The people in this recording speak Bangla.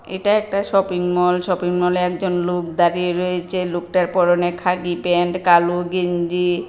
এটা একটা শপিংমল শপিংমল -এ একজন লোক দাঁড়িয়ে রয়েচে লোকটার পরনে খাঁকি প্যান্ট কালো গেঞ্জি।